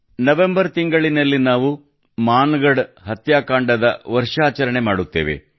November ತಿಂಗಳಿನಲ್ಲಿ ನಾವು ಮಾನಗಢ ಹತ್ಯಾಕಾಂಡದ ವರ್ಷಾಚರಣೆಯನ್ನು ಕೂಡಾ ಮಾಡುತ್ತೇವೆ